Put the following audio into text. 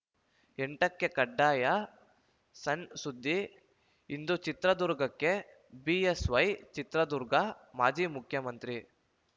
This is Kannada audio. ಎಂಟಕ್ಕೆಕಡ್ಡಾಯಸಣ್‌ಸುದ್ದಿ ಇಂದು ಚಿತ್ರದುರ್ಗಕ್ಕೆ ಬಿಎಸ್‌ವೈ ಚಿತ್ರದುರ್ಗ ಮಾಜಿ ಮುಖ್ಯಮಂತ್ರಿ